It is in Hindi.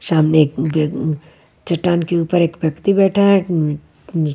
सामने एक ग चट्टान के ऊपर एक व्यक्ति बैठा है अ अ --